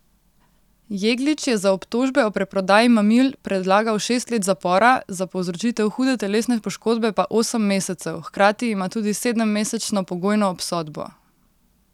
Jeglič je za obtožbe o preprodaji mamil predlagal šest let zapora, za povzročitev hude telesne poškodbe pa osem mesecev, hkrati ima tudi sedemmesečno pogojno obsodbo.